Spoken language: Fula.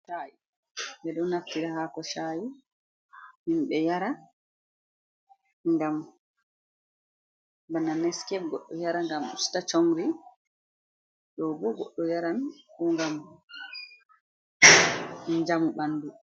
Sha'i, ɓeeɗoo naftira hako sah'i himɓee yara ngam bana neskef goɗɗo yara ngam usta comri, ɗoo bo goɗɗo yaran ko ngam njamu ɓandu.